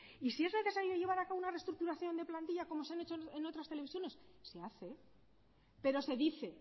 y si es necesario llevar a cabo una reestructuración de plantilla como se han hecho en otras televisiones se hace pero se dice